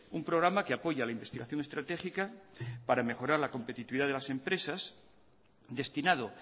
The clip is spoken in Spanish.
un programa que apoya la investigación estratégica para mejorar la competitividad de las empresas destinado